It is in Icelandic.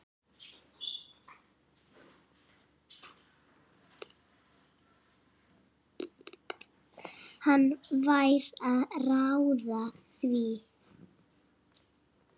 Hann fær að ráða því.